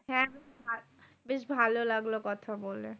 হ্যাঁ বেশ ভালো লাগলো কথা বলে।